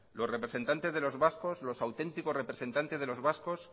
los representantes de los vascos los auténticos representantes de los vascos